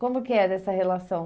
Como que era essa relação?